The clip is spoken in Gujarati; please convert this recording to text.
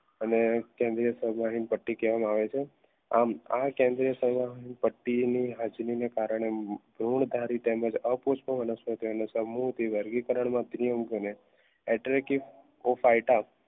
અને કેન્દ્રીય પટ્ટી કહેવામાં આવે છે આમા કેન્દ્રીય પટ્ટીની હાજરીને કારણે ગુણકારી તેમજ અપુષ્પ વનસ્પતિઓ